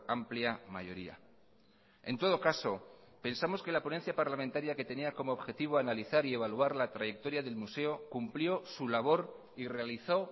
amplia mayoría en todo caso pensamos que la ponencia parlamentaria que tenía como objetivo analizar y evaluar la trayectoria del museo cumplió su labor y realizó